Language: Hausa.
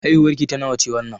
Haihuwar ki ta nawa ce wannan?